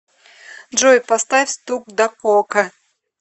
джой поставь стук дакока